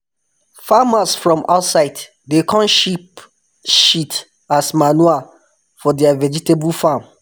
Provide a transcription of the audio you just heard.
farmers from outside dey come sheep shit as manure for their vegetable farm